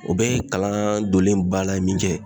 O bɛɛ ye kalan donnen ye ba la min kɛ